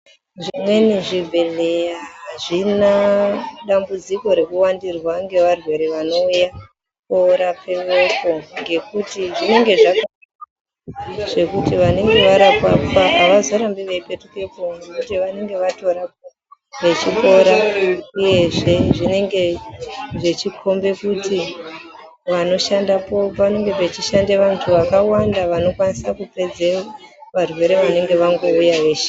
Zvimweni zvibhedhleya zvine dambudziko rekuwandirwa ngevarwere vanouya orapwe uko ngekuti zvinenge zvava zvekuti vanenge varapwa havazorambi vepetuke kuti vanenge vatora ngechikora uyezve zvinenge zvichikombe futi vanoshandapo panenge pachishanda vantu vakawanda vanokwanisa kupedzeyo varwere vanenge vauya veshe